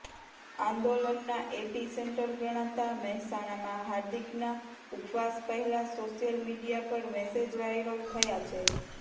આંદોલનના epicentre ગણાતા મહેસાણામાં હાર્દિકના ઉપવાસ પહેલા સોશિયલ મીડિયા પર મેસેજ વાયરલ થયા છે